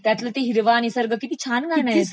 त्यातील ते हिरवा निसर्ग किती छान गाणं आहे ते..